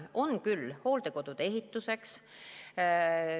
On küll raha hooldekodude ehituseks.